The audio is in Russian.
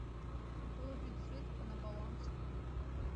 положить средства на баланс